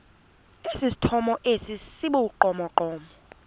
esithomo esi sibugqomogqomo